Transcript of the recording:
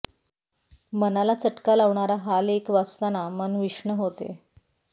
मनाला चटका लावणारा हा लेख वाचताना मन विषण्ण होते